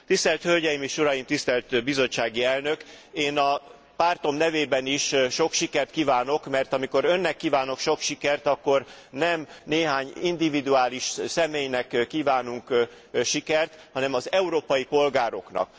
Tisztelt hölgyeim és uraim, tisztelt bizottsági elnök, én a pártom nevében is sok sikert kívánok, mert amikor önnek kívánok sok sikert akkor, nem néhány individuális személynek kívánunk sikert, hanem az európai polgároknak.